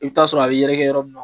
I bɛ ta'a sɔrɔ a bɛ yɛrɛ yɔrɔ min na